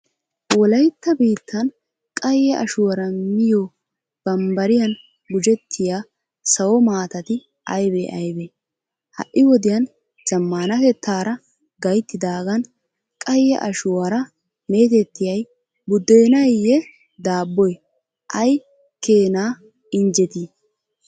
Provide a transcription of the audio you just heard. Wolaytta biittan qayye ashuwara miyo bambbariyan gujettiya sawo maatati aybee aybee? Ha"i wodiyan zammaanatettaara gayttidaagan qayye Ashuwara meetettiya buddenaynne daabboy ay keena injjetii?